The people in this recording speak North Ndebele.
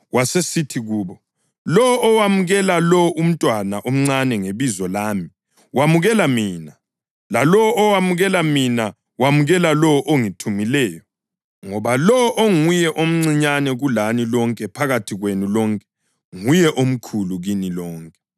Wasesithi kubo, “Lowo owamukela lo umntwana omncane ngebizo lami wamukela mina, lalowo owamukela mina wamukela lowo ongithumileyo. Ngoba lowo onguye omncinyane kulani lonke phakathi kwenu lonke, nguye omkhulu kini lonke.”